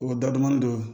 O dadɔnni dɔ